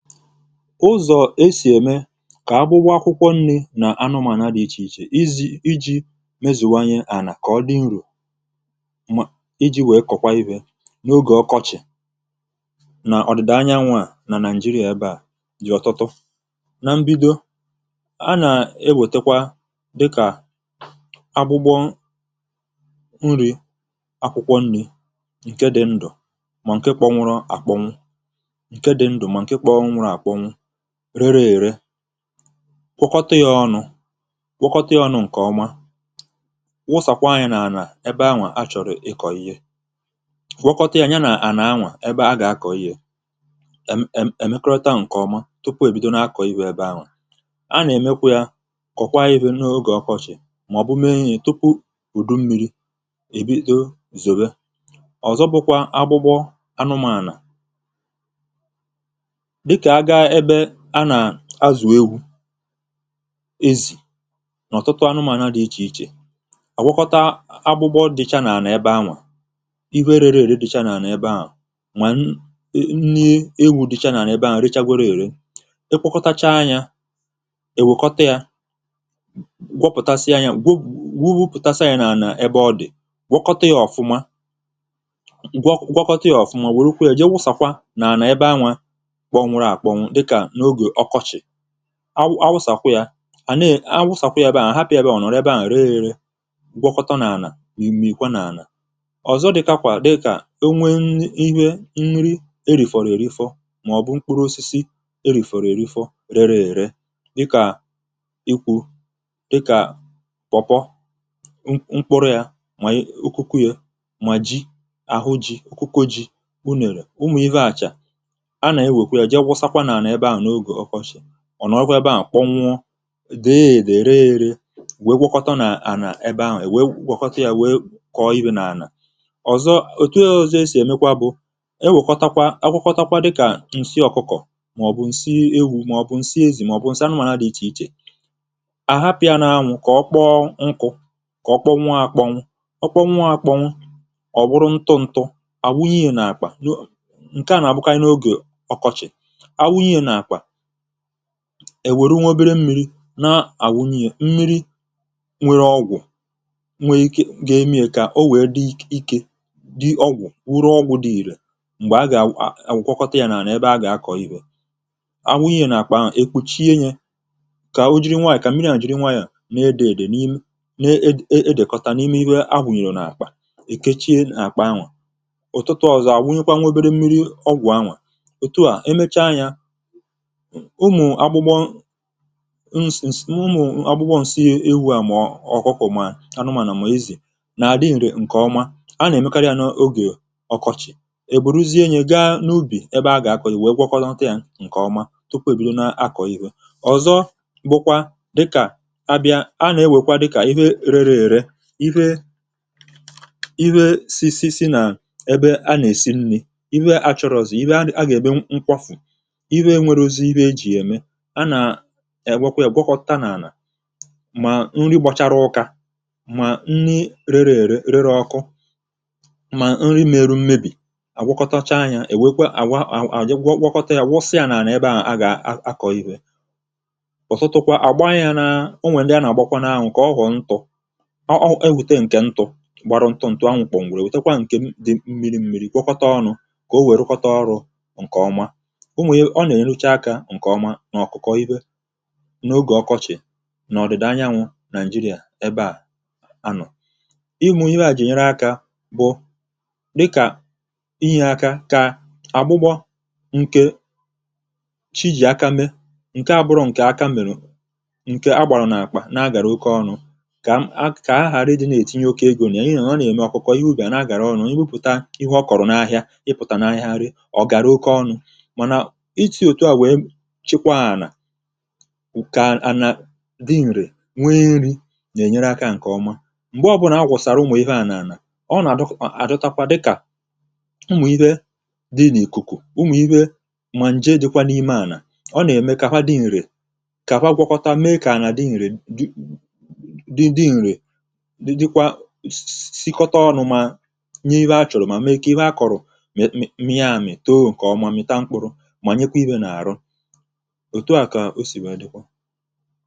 Ụzọ esi eme ka agbụgbọ akwụkwọ nri na anụmanụ dị iche iche iji mezuwa ihe àlà ka ọdị uru iji wee kọkwaa ife n'oge ọkọchị na ọdịda anyanwụa na Nigeria ebea dị ọtụtụ. Na mbido, ana ewetekwa dị ka agbụgbọ nri, akwụkwọ nni nkè dị ndụ mà nke kpọnwụrụ akpọnwụ nkè dị ndụ mà nke kpọnwụrụ akpọnwụ, rere ere, kwọkọta ya ọnụ nke ọma, wụsakwaa ya n'ala ebe anwa achọrọ ịkọ ihé, gwọkọta ya ya nà ana nwa ébé a ga-akọ ihe, mmm emekọrịta nke ọma tupu ebido n'akọ ive ebe anwa. Ana emekwa ya, kọkwaa ya ife n'oge ọkọchị maọbụ mee ya tupu udu mmiri ebido zowe. Ọzọ bụkwa agbụgbọ anụmanụ, dịka agaa ebe ana azụ ewu, ezi n'ọtụtụ anụmanụ dị iche iche, agwọkọta agbụgbọ dịcha n'ana ebe anwa, ihe rere ere dịcha n'ala ebe anwa, ma nni ewu dịcha n'ala ebe anwa rechagoro ere, ị kwọkọtachaa nya, ewekọta ya, gwọpụtasịa ya, gwu gwọpụtasịa nya n'ala ebe ọdị, gwọkọta ya ọfụma, gwọ gwọkọta ya ọfụma werukwe ya jee wụsakwa n'ana ebe anwa kpọnwụrụ akpọnwụ dịka n'oge ọkọchị, awụ awụsakwa ya a ne awụsakwa ya ebe ahụ ahapụ ya ebe ahụ ọnọrọ ebe ahụ ree eree gwọkọta n'ana imikwaa n'ana. Ọzọ dikakwa dịka enwee nni ive nri erifọrọ erifọ maọbu mkpụrụ osisi erifọrọ erifọ rere ere dịka ikwu dịka pawpaw, mkpụrụ ya ma okoko ya, ma ji ahụ ji okoko ji, unere, ụmụ ife ahụcha, ana ewekwee jee wụsakwa n'ana ebe ahụ n'oge ọkọchị, ọnọrọkwa ebe ahụ kpọnwụọ, dee edee, ree eree wee gwọkọta n'ana ebe ahụ ewee gwọkọta ya wee kọọ ive n'ana. Ọzọ etu ọzọ esi emekwa bụ, ewekọtakwa agwọkọta dịka nsị ọkụkọ maọbu nsị ewu maọbu nsị ezi maọbu nsị anụmanụ dị iche iche, ahapụ ya n'anwụ kọkpọọ nkụ, kọkpọnwụọ akpọnwụ, ọkpọnwụ akpọnwụ ọwụrụ ntụ ntụ awụnye ya n'akpa, nkea n'abụkarị n'oge ọkọchị, anwụnye ya n'akpa eweru nwaobere mmiri na anwụnye ya mmiri nwere ọgwụ nwere ike ga-eme ya ka owee dị ike, dị ọgwụ nwụrụ ọgwụ dị ire mgbe aga agwọkọta ya n'ana ebe aga akọ ive, anwụnye ya n'akpa anwa, ekpuchie ya ka ojiri nwanyọ ka mmiri ahụ jiri nwayọọ n'ede ede n'edekọta n'ime ive anwụnyere n'akpa ekechie akpa anwa, ụtụtụ ọzọ anwụnyekwa nwaobere mmiri ọgwụ anwa, otua emecha nya ụmụ agbụgbọ nsisi ụmụ agbụgbọ nsi ewu ahu mọọ ọkụkọ ma anụmanụ ma ezi na adị nre nkeọma ana emekarị ya oge ọkọchị eburuzie nye gaa n'ubi ébé a ga-akọ ihe agwọkọta nya nke ọma tupu ebido n'akọ ive. Ọzọ bụkwa rịka abịa anaewekwa dịka ive rere ere ife ive si si si na ebe ana esi nni ive achọrọzi ive aga eme nkwafu, ive enwerọzi ive eji ya eme, ana ewekwe ya gwọkọta n'ana ma nri gbachara ụka ma nni rere ere rere ọkụ ma nri mere mmebi, agwọkọtacha nya ewere kwa ejee gwọkọta wụsa nya n'ana ebe ahụ a ga-akọ ive. Ọtụtụkwa agbanya na enwee ndị ana agbakwa n'anwụ ka ọghọọ ntụ, ọ ọ eweta nke ntụ gbaru ntụ ntụ anwụ kpọnwụrụ ewetekwa nke dị mmiri mmiri gwọkọta ọnụ ka owee rụkọta ọrụ nke ọma, ụmụ ọ na-enyecha aka nke ọma n'ọkụkọ ive n'oge ọkọchị n'ọdịda anyanwu Nigeria ebea anọ. Ụmụ ivea ji enyere aka bụ dịka inye aka ka agbụgbọ nke chi ji aka mee, nke abụrọ nke aka merụ, nke agbarụ n'akpa n'agara oke ọnụ ka aghara inetinye oke ego na ya n'ihi ọ n'eme ọkụkọ ihe ubi ana agara oke ọnụ, ibupụta ihe ọkọrọ n'ahịa ịpụta n'ahịa ree ya ọgara oke ọnụ mana esi etua wee chikwaa ana ka ana dị nre nwee nri ga enyere aka nke ọma. Mgbe ọbụla agwọsara ụmụ ivea n'ana, ọ na adọtakwa dịka ụmụ ive dị na ikuku, ụmụ ive mà nje dịkwa n'ime ana, ọ n'eme ka ha dị nre, ka fa gwọkọta mee ka ana dị nre dị dị nre, dị dịkwa sisikọta ọnụ ma nye ive achọrọ ma mee ka ive akọrọ mịa amị, too nke ọma ma mịta mkpụrụ ma nyekwa ive n'arụ. Etua ka o si wee dịkwa.